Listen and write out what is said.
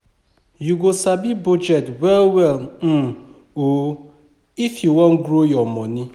You go sabi budget well well um o if you wan grow your moni.